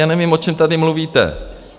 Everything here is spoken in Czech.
Já nevím, o čem tady mluvíte.